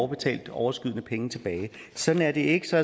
betalte overskydende penge tilbage sådan er det ikke så